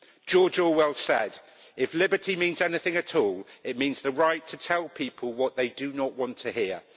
George Orwell said, If liberty means anything at all, it means the right to tell people what they do not want to hear'.